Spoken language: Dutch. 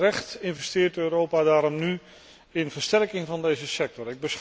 En terecht investeert Europa daarom nu in versterking van deze sector.